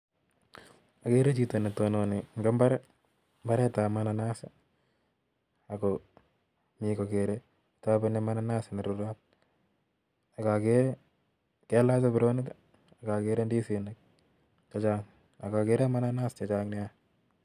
Okere chito netononi en imbari, imbaret tab bananas ako Mii kokere topeni bananas nerurot ak okere kalach saburonik ak okere indisinik che Chang ak okere mananaa che Chang nia.